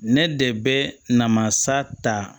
Ne de bɛ namasa ta